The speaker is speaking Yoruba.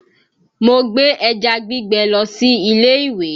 Mo gbé ẹja gbígbẹ lọ sí ilé ìwé